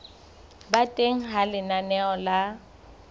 ba teng ha lenaneo la